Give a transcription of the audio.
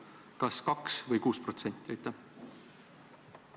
Kas see käib 2% või 6% kohta?